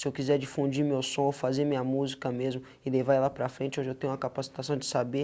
Se eu quiser difundir meu som, fazer minha música mesmo e levar ela para frente, hoje eu tenho uma capacitação de saber.